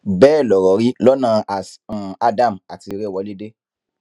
bẹẹ lọrọ rí lọnà as um adam àti ìrèwọlédè